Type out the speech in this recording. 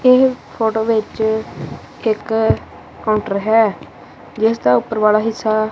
ਇਹ ਫੋਟੋ ਵਿੱਚ ਇੱਕ ਕਾਊਂਟਰ ਹੈ ਜਿਸਦਾ ਉੱਪਰ ਵਾਲਾ ਹਿੱਸਾ।